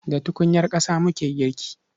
Da tukunyar ƙasa muke girki.